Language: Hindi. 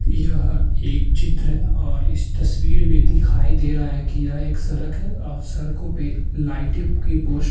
यह एक चित्र है और इस तस्वीर में दिखाई दे रहा है कि यह एक सरक है और सरकों पे लाइटें की पोस --